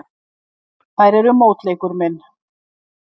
Þær eru mótleikur minn.